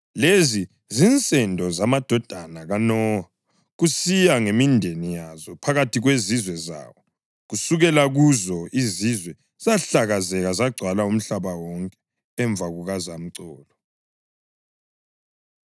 Lezi zinsendo zamadodana kaNowa kusiya ngemindeni yazo, phakathi kwezizwe zawo. Kusukela kuzo, izizwe zahlakazeka zagcwala umhlaba wonke emva kukazamcolo.